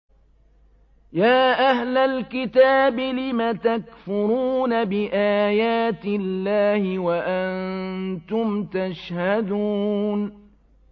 يَا أَهْلَ الْكِتَابِ لِمَ تَكْفُرُونَ بِآيَاتِ اللَّهِ وَأَنتُمْ تَشْهَدُونَ